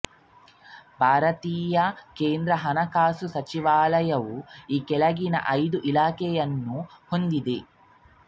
ಭಾರತೀಯ ಕೇಂದ್ರ ಹಣಕಾಸು ಸಚಿವಾಲಯವು ಈ ಕೆಳಗಿನ ಐದು ಇಲಾಖೆಗಳನ್ನು ಹೊಂದಿದೆ